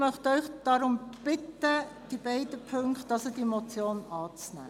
Ich möchte Sie deshalb bitten, beide Ziffern der Motion anzunehmen.